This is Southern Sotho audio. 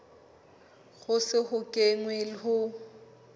ho se ho kenwe ho